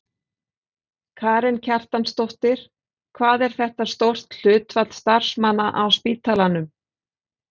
Karen Kjartansdóttir: Hvað er þetta stórt hlutfall starfsmanna á spítalanum?